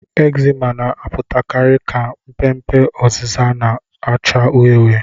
Ekzima na-apụtakarị ka mpe mpe oziza na-acha uhie uhie.